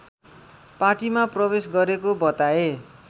पार्टीमा प्रवेश गरेको बताए